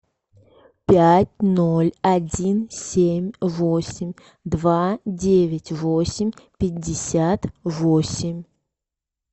пять ноль один семь восемь два девять восемь пятьдесят восемь